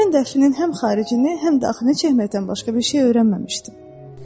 Mən də əflinin həm xaricini, həm daxilini çəkməkdən başqa bir şey öyrənməmişdim.